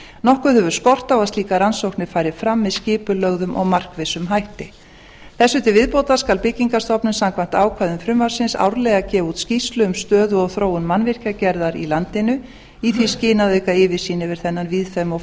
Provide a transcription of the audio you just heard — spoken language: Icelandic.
nokkuð hefur skort á að slíkar rannsóknir fari fram með skipulögðum og markvissum hætti þessu til viðbótar skal byggingarstofnun samkvæmt ákvæðum frumvarpsins árlega gefa út skýrslu um stöðu og þróun mannvirkjagerðar í landinu í því skyni að auka yfirsýn yfir þennan víðfeðma og